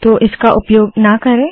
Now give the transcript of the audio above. तो इसका उपयोग ना करे